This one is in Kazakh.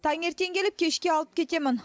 таңертең әкеліп кешке алып кетемін